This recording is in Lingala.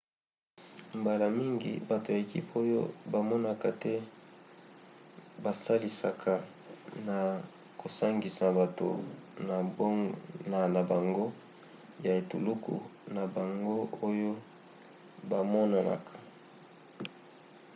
mbala mingi bato ya ekipe oyo bamonanaka te basalisaka na kosangisa bato na bango ya etuluku na bango oyo bamonanaka